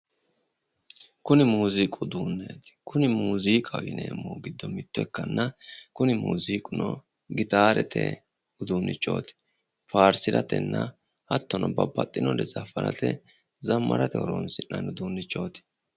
kuni muziiqu uduunneeti. kuni muziiqaho yineemmohu giddo mitto ikkanna, kuni muuziiquno gitaarete uduunnichooti faarsiratenna hattono zammarate horonsinna'nni uduunnichooti.